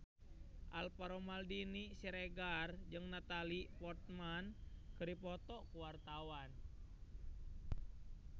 Alvaro Maldini Siregar jeung Natalie Portman keur dipoto ku wartawan